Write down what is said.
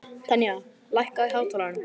Tanya, lækkaðu í hátalaranum.